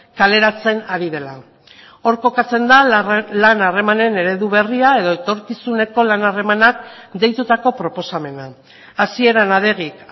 kaleratzen ari dela hor kokatzen da lan harremanen eredu berria edo etorkizuneko lan harremanak deitutako proposamena hasieran adegik